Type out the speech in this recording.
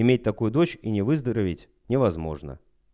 иметь такую дочь и не выздороветь невозможно